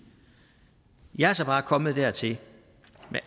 jeg er så bare kommet dertil